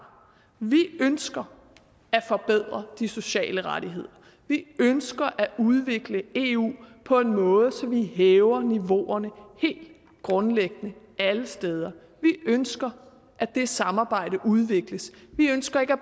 vi ønsker at forbedre de sociale rettigheder vi ønsker at udvikle eu på en måde så vi hæver niveauerne helt grundlæggende alle steder vi ønsker at det samarbejde udvikles vi ønsker ikke at